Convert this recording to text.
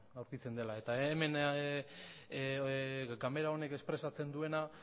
aurkitzen dela hemen ganbara honek espresatzen duena